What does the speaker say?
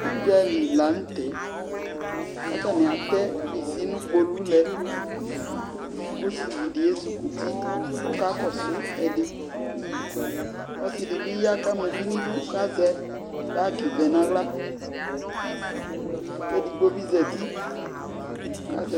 udzali lantɛ ko atani atɛ bisi no kpolu lɛ ko osivi di ezi kuti ko ɔka kɔso ɛdi ɔse di bi ya ko ama uvi no idu ko azɛ bag vɛ no ala ko edigbo bi zati ko azɛ